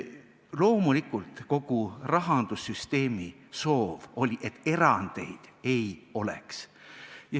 Loomulikult, kogu rahandussüsteemi soov oli, et erandeid ei oleks.